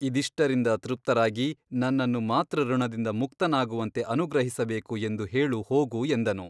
ಇದಿಷ್ಟರಿಂದ ತೃಪ್ತರಾಗಿ ನನ್ನನ್ನು ಮಾತೃಋಣದಿಂದ ಮುಕ್ತನಾಗುವಂತೆ ಅನುಗ್ರಹಿಸಬೇಕು ಎಂದು ಹೇಳು ಹೋಗು ಎಂದನು.